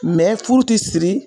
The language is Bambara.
Mɛ furu ti siri.